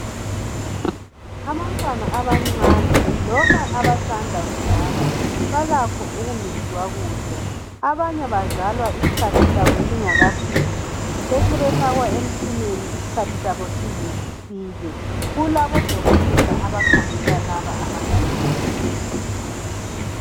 Abantwana abancane loba abasanda kuzalwa balakho ukungezwa kuhle. Abanye bazalwa isikhathi sabo singakafiki besebefakwa emtshineni isikhathi sabo size sifike. Kulabodokotela abakhangela laba abancane.